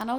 Ano.